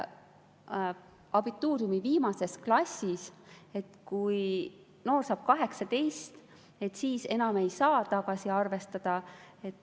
Abituuriumi viimases klassis, kui noor saab 18, ei saa seda maha arvestada.